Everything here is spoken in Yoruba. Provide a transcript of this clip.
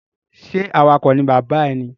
Ṣe awakọ̀ ni bàbá rẹ ní?